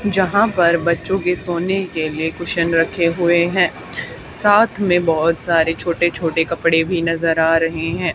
यहां पर बच्चो के सोने के लिए कुशन रखे हुए हैं साथ में बहुत सारे छोटे छोटे कपड़े भी नजर आ रहे हैं।